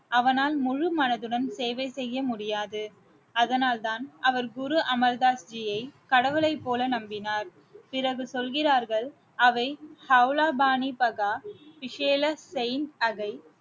அவனால் முழு மனதுடன் சேவை செய்ய முடியாது அதனால்தான் அவர் குரு அமர் தாஸ் ஜியை கடவுளைப் போல நம்பினார் பிறகு சொல்கிறார்கள் அவை அவுலா பாணி பஹா குசேல செயின் அகை